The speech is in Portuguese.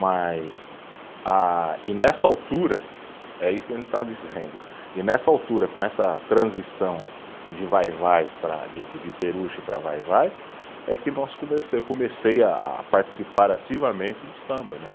Mas ah, e nessa altura, é isso que a gente está dizendo, e nessa altura, com essa transição de vai-vai para, de de de Peruche para vai-vai, é que nós começa, eu comecei a participar ativamente do samba, né?